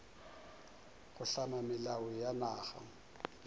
go hlama melao ya naga